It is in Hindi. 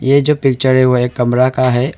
ये जो पिक्चर है वो एक कमरा का है और--